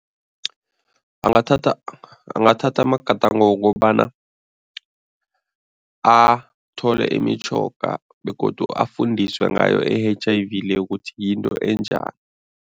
Angathatha angathatha amagadango wokobana athole imitjhoga begodu afundiswe ngayo i-H_I_V le ukuthi yinto enjani.